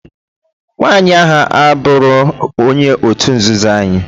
Nwaanyi a aburo onye otu nzuzuo anyi